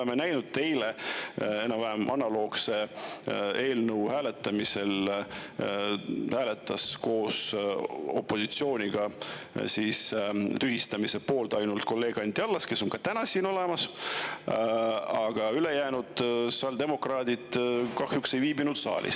Me eile nägime enam-vähem analoogse eelnõu hääletamisel, et koos opositsiooniga hääletas tühistamise poolt ainult kolleeg Anti Allas, kes on ka täna siin olemas, aga ülejäänud sotsiaaldemokraadid kahjuks ei viibinud saalis.